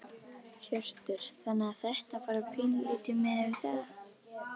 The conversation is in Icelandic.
Hjörtur: Þannig að þetta bara pínulítið miðað við það?